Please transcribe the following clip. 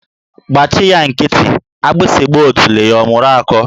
Gbachị ya nkịtị, agbịsị gba otule ya mụrụ akọ.